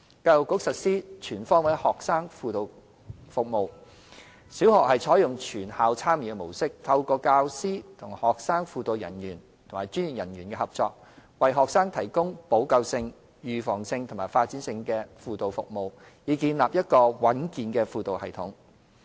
教育局實施"全方位學生輔導服務"，小學採用"全校參與"模式，透過教師與學生輔導人員及專業人員合作，為學生提供補救性、預防性及發展性的輔導服務，以建立一個穩健的輔導系統。